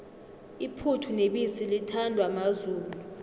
iphuthu nebisi lithandwa mazulu